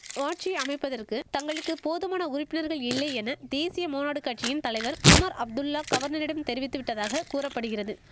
ஆட்சி அமைப்பதற்கு தங்களுக்கு போதுமான உறுப்பினர்கள் இல்லை என தேசிய மாநாடு கட்சியின் தலைவர் உமர் அப்துல்லா கவர்னரிடம் தெரிவித்து விட்டதாக கூற படிகிறது